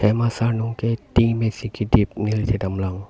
asurnung ke ting pen si kedip neli thek dam long.